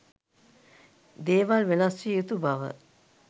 දේවල් වෙනස් විය යුතු බව